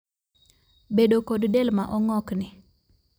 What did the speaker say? bedo kod del ma ongokni